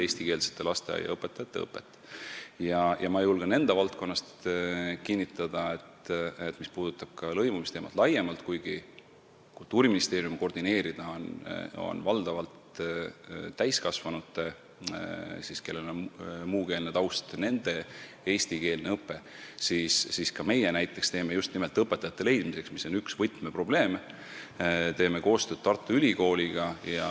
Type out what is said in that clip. Mis puudutab lõimumisteemat laiemalt, siis ma julgen enda valdkonna kohta kinnitada – kuigi Kultuuriministeeriumi koordineerida on valdavalt muukeelse taustaga täiskasvanute eesti keele õpe –, et ka näiteks meie teeme koostööd Tartu Ülikooliga just nimelt õpetajate leidmiseks, mis on üks võtmeprobleeme.